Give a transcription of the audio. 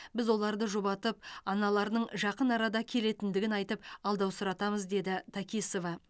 біз оларды жұбатып аналарының жақын арада келетіндігін айтып алдаусыратамыз деді такисова